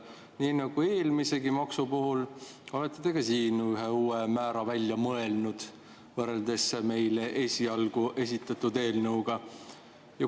Nii nagu eelmisegi maksu puhul, olete te ka siin ühe uue määra välja mõelnud võrreldes meile esialgu esitatud eelnõuga.